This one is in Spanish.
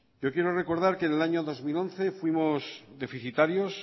yo quiero recordar que en el año dos mil once fuimos deficitarios